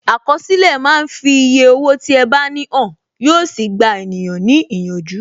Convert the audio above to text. Àkọsílẹ̀ máa ń fi eye owó tí ẹ bá ní hàn, yo sì gba ènìyàn ní ìyànjú.